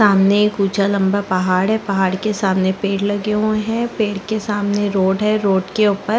सामने एक ऊँचा लम्बा पहाड़ है पहाड़ के सामने पेड़ लगे हुए है पेड़ के सामने रोड है रोड के ऊपर--